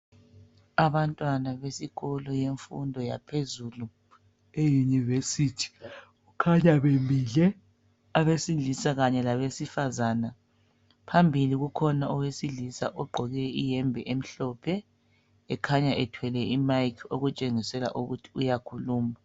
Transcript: Abantwana besikolo yemfumdo yaphezulu, iyunivesithi. Kukhanya bemile abesilisa kanye làbesifazana. Phambili kukhona owesilisa ogqoke iyembe emhlophe ekhanya ethwele imayikhi okutshengisela ukuthi uyakhuluma.